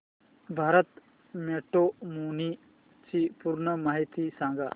Bharat Matrimony ची पूर्ण माहिती सांगा